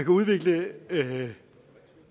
udvikle